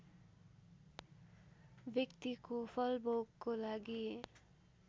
व्यक्तिको फलभोगको लागि